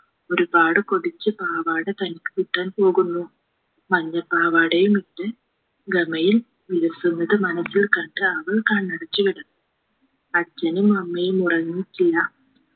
ഒരുപാട് കൊതിച്ച് പാവാട തനിക്ക് കിട്ടാൻ പോകുന്നു മഞ്ഞപ്പാവാടയുമിട്ട് ഗമയിൽ വിലസുന്നത് മനസിൽ കണ്ട് അവൾ കണ്ണടച്ച് കിടന്നു അച്ഛനും അമ്മയും ഉറങ്ങിയിട്ടില്ല